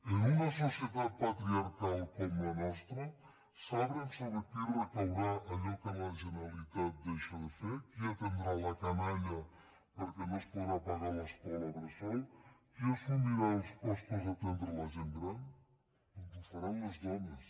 en una societat patriarcal com la nostra saben sobre qui recaurà allò que la generalitat deixa de fer qui atendrà la canalla perquè no es podrà pagar l’escola bressol qui assumirà els costos d’atendre la gent gran doncs ho faran les dones